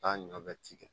Taa ɲɔ bɛ ci kɛ